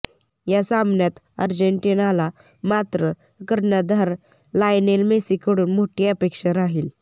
या सामन्यात अर्जेन्टिनाला मात्र कर्णधार लायनेल मेसीकडून मोठी अपेक्षा राहील